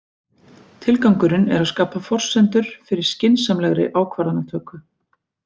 Tilgangurinn er að skapa forsendur fyrir skynsamlegri ákvarðanatöku.